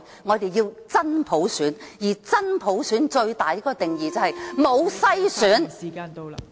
我們要真普選，而真普選最大的定義就是沒有篩選......